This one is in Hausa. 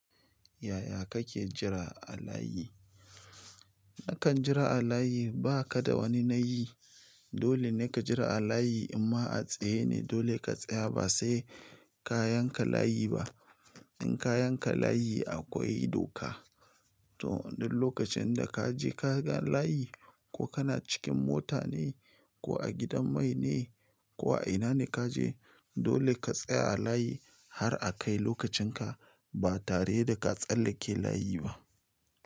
Yaya kake jira a layi? Nakan jira a layi ba ka da wani nayi. Dolene kajira a layi in ma a tsaye ne. Dole ka tsaya ba sai kayan ka layi ba. In kayan ka layi akwai doka. To, duk lokacin da ka je ka ga layi ko kana cikin mota ne ko a gidan mai ne ko a ina ne ka je, dole ka tsaya a layi har a kai lokacin ka ba tare da ka tsallake layi ba.